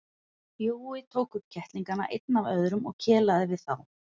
Jói tók upp kettlingana einn af öðrum og kelaði við þá.